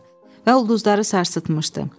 Və ulduzları sarsıtmışdı.